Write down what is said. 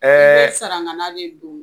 i bɛ saragana de don.